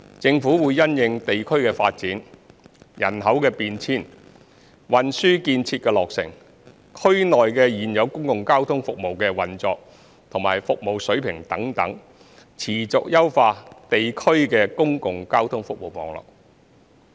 政府會因應地區發展、人口變遷、運輸建設的落成、區內現有公共交通服務的運作和服務水平等，持續優化地區的公共交通服務網絡。